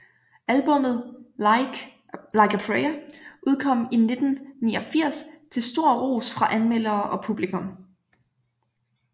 Albummet Like a Prayer udkom i 1989 til stor ros fra anmeldere og publikum